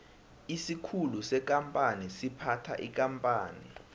isikhulu sekampani siphatha ikampani